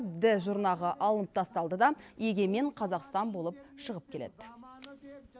ді жұрнағы алынып тасталды да егемен қазақстан болып шығып келеді